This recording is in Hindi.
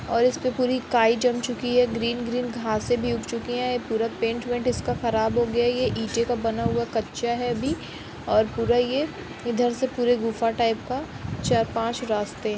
और इसपे पुरी काई जम चुकी है ग्रीन ग्रीन घांसे भी उग चुकी हैं पूरा पेंट वेंट इसका खराब हो गया है। यह इटें का बना हुआ कच्चा है अभी और पूरा यह इधर से पूरे गुफा टाइप का चार-पांच रास्ते हैं।